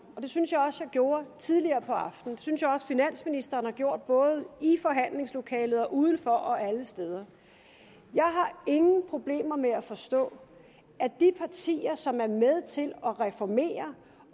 og det synes jeg også at jeg gjorde tidligere på aftenen og det synes jeg også finansministeren har gjort både i forhandlingslokalet og uden for og alle steder jeg har ingen problemer med at forstå at de partier som er med til at reformere